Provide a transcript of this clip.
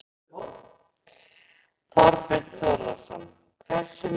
Þorbjörn Þórðarson: Hversu mikið ofar?